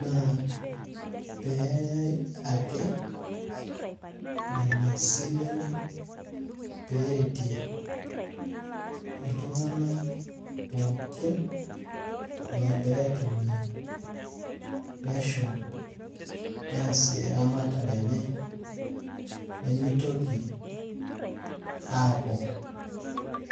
Naa, peyai ake nena silen peretie iltung'anak pookin logira aitumia, neshum, neesie eramatare enye, nimitoki aaku